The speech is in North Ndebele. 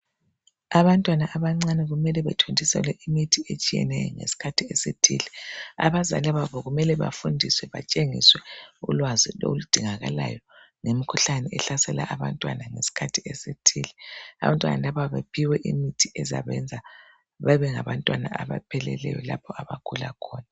Abantwana abancane kumele bathontiselwe imithi etshiyeneyo ngesikhathi esithile. Abazali babo kumele bafundiswe, batshengiswe ulwazi oludingakalayo lemikhuhlane ehlasela abantwana ngesikhathi esithile. Abantwana laba bephiwe imithi ezabenza babe ngabantwana abapheleleyo lapha abagula khona.